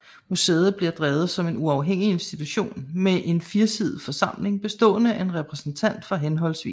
Museet bliver drevet som en uafhængig institution med en firesidet forsamling bestående af en repræsentant fra hhv